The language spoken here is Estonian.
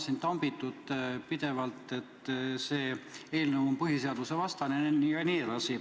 Teid on täna siin pidevalt tambitud, et see eelnõu on põhiseadusvastane jne.